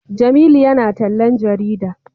Jamilu ya na tallan jarida